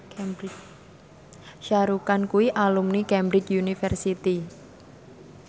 Shah Rukh Khan kuwi alumni Cambridge University